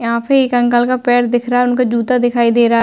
यहाँ पे एक अंकल का पैर दिख रहा है। उनका जूता दिखाई दे रहा है।